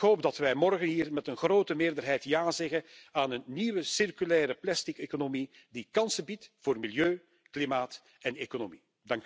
Ik hoop dat wij morgen met een grote meerderheid ja zeggen tegen een nieuwe circulaire plasticeconomie die kansen biedt voor milieu, klimaat en economie.